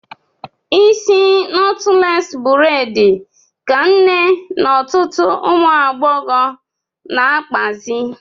Isi nọtles bredi ka nne na ọtụtụ ụmụagbọghọ na-akpazị